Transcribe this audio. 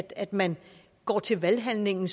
at man går til valghandlingen